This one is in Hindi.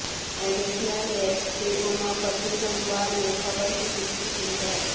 एडिशनल एएसपी उमापति जम्वाल ने खबर की पुष्टि की है